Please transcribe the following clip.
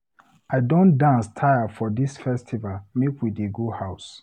I don dance tire for dis festival, make we dey go house.